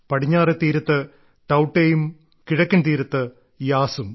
പടിഞ്ഞാറെ തീരത്ത് ടൌട്ടെയും കിഴക്കൻ തീരത്ത് യാസും